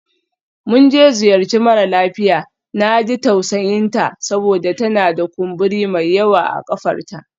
Mun je ziyarci mara lafiya, na ji tausayinta saboda tana da kumburi mai yawa a ƙafarta.